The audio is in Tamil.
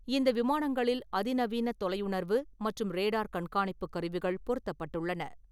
இந்த விமானங்களில் அதிநவீனத் தொலையுணர்வு மற்றும் ரேடார் கண்காணிப்புக் கருவிகள் பொறுத்தப்பட்டுள்ளன.